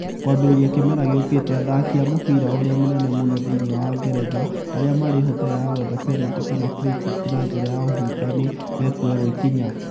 Kwambĩrĩria kĩmera gĩukĩte athaki a mũbira ũrĩa mũnene mũno thĩinĩ wa Ngeretha arĩa marĩ hũthĩra ya gwetha penalty kana free kick na njĩra ya ũhinga nĩ mekuoerwo ikinya.